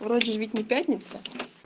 вроде ведь не пятница